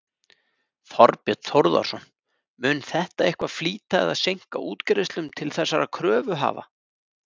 Þorbjörn Þórðarson: Mun þetta eitthvað flýta eða seinka útgreiðslum til þessara kröfuhafa?